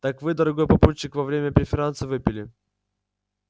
так вы дорогой папульчик во время преферанса выпили